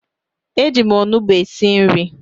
Eji m onugbu esi nri